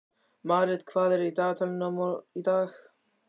Marit, hvað er á dagatalinu í dag?